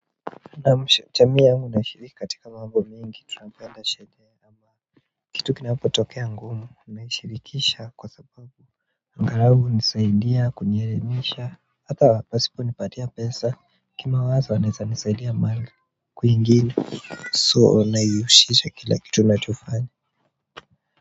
Nashirikiana na jamii yangu katika mambo mingi tunanganda shedea kitu kina hapo tokea ngumu humeshirikisha kwa sababu angalau hunisaidia kunielimisha hata wasiponipatia pesa, kimawazo wanaweza nisaidia mengi so ninaihusisha kwa kila kitu ninachofanya.